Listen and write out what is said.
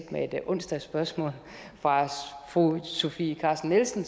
med et onsdagsspørgsmål fra fru sofie carsten nielsen